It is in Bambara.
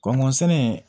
Kɔnɔntɔn sɛnɛ